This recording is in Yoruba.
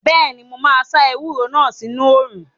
Bẹ́ẹ̀ni, mo máa sá ewúro náà sínu òrùn